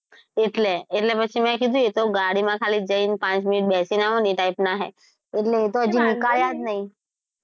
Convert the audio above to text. એટલે એટલે પછી મે એ કીધું એ તો ગાડી માં ખાલી પાંચ મિનિટ જઈને બેસી આવવાનું ને એ type ના છે. એટલે હજુ એતો નિકાળ્યા જ નહીં.